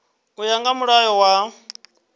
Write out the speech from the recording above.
u ya nga mulayo wa